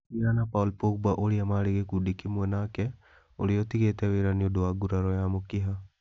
Nĩ athiaga na Paul Pogba ũrĩa marĩ gĩkundi kĩmwe nake ũrĩa ũtigĩte wĩra nĩ ũndũ wa nguraro ya mũkiha.